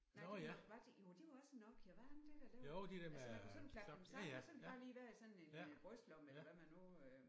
Nej det nok var det jo det var også en Nokia var det ikke det der lavede altså man kunne sådan klappe den sammen så kunne den bare lige være i sådan en brystlomme eller hvad man nu øh